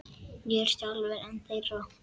Ég er sjálfur einn þeirra.